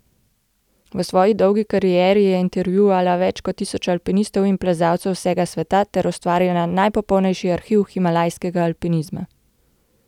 V svoji dolgi karieri je intervjuvala več kot tisoč alpinistov in plezalcev z vsega sveta ter ustvarila najpopolnejši arhiv himalajskega alpinizma.